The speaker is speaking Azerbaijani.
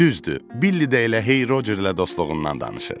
Düzdür, Billi də elə hey Rocerlə dostluğundan danışır.